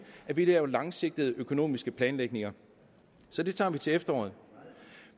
at vi laver langsigtet økonomisk planlægning så det tager vi til efteråret